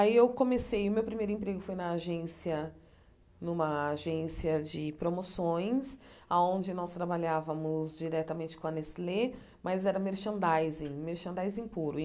Aí eu comecei, meu primeiro emprego foi na agência numa agência de promoções, aonde nós trabalhávamos diretamente com a Nestlé, mas era merchandising, merchandising puro.